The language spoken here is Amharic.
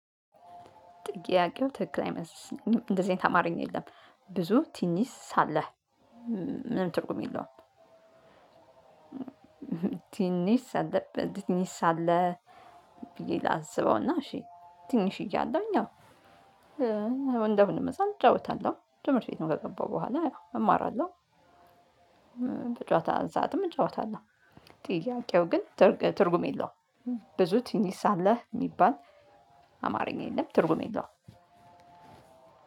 ጥያቄው ትክክል አይመስልም እንደዚህ አይነት አማረኛ የለም ብዙ ትንሽ ሳለህ ምንም ትርጉም የለውም። ትንሽ ሳለ ትንሽ ሳለ ብዬ ላስበውና እሺ ትንሽ እያለሁኝ አዎ። እንደማንኛውም ህፃን እጫወታለሁ ትምህርት ቤት ከገባሁ በኋላ ያው እማራለሁ። በጨወታ ሰዓትም እጫወታለሁ። ጥያቄው ግን ትርጉም የለውም። ብዙ ትንሽ ሳለህ የሚባል አማርኛ የለም ትርጉም የለውም።